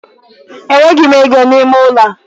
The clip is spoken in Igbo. Enweghị m ego n'ime ụlọ a.